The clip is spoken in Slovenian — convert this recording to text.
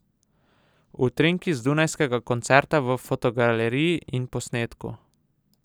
Utrinki z dunajskega koncerta v fotogaleriji in posnetku!